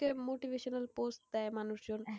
motivational post দেয় মানুষজন,